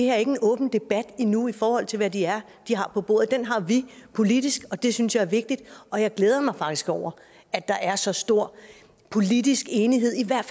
er ikke en åben debat endnu i forhold til hvad det er de har på bordet den har vi politisk og det synes jeg er vigtigt og jeg glæder mig faktisk over at der er så stor politisk enighed i hvert